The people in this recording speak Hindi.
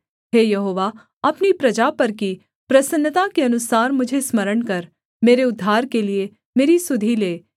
हे यहोवा अपनी प्रजा पर की प्रसन्नता के अनुसार मुझे स्मरण कर मेरे उद्धार के लिये मेरी सुधि ले